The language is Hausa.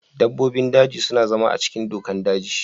Dabbobin daji suna zama a cikin dokar daji.